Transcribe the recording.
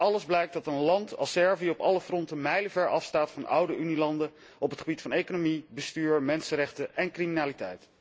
Uit alles blijkt dat een land als Servië op alle fronten mijlenver afstaat van oude Unielanden op het gebied van economie, bestuur, mensenrechten en criminaliteit.